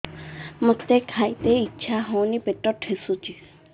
ମୋତେ ଖାଇତେ ଇଚ୍ଛା ହଉନି ପେଟ ଠେସୁଛି